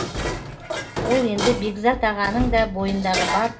ол енді бекзат ағаның да бойындағы бар